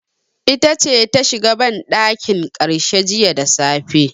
Ita ce ta shiga banɗakin karshe jiya da safe.